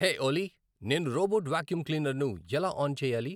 హే Ollie నేను robot vacuum క్లీనర్ను ఎలా ఆన్ చేయాలి